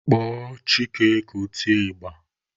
Kpọọ Chike ka o tie ịgba!